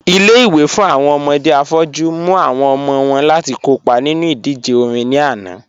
Ilé-ìwé fún awọn ọmọdé afọ́jù mú awọn ọmọ wọn láti kọ́pa nínu idíjè orin ní ànà